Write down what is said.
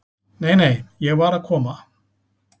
"""Nei, nei, ég var að koma."""